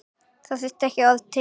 Það þurfti ekki orð til.